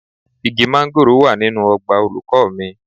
Igi máńgòrò wà nínú ọgbà olùkọ́ mi